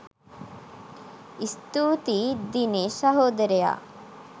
ස්තූතියි දිනේෂ් සහෝදරයා